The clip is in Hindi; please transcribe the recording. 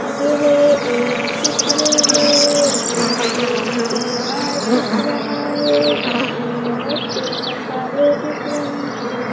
यह एक चित्र है इसमें एक डी मार्ट दिख रहा है जिसमें बहुत से मसाले दिख रहे हैं।